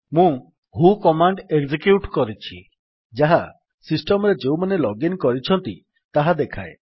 ମୁଁ who command execute କରିଛି ଯାହା ସିଷ୍ଟମ୍ ରେ ଯେଉଁମାନେ ଲଗ୍ ଇନ୍ କରିଛନ୍ତି ତାହା ଦେଖାଏ